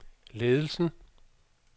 ledelsen